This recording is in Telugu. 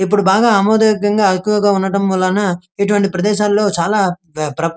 ఇప్పుడు బాగా ఆమోదహేకువగా ఎక్కువగా ఉండడం వలన ఇటువంటి ప్రదేశలో చాలా ప్ర --